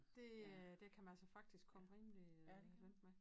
Det øh det kan man altså faktisk komme rimelig øh langt med